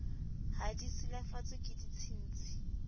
ha di silafatswe ke ditshintshi